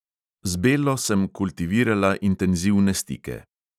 Z bello sem kultivirala intenzivne stike.